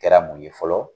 Kɛra mun ye fɔlɔ